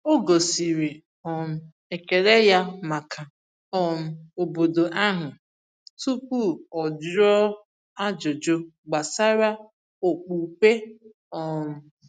O gosiri um ekele ya maka um obodo ahụ tupu o jụọ ajụjụ gbasara okpukpe. um